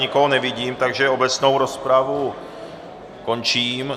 Nikoho nevidím, takže obecnou rozpravu končím.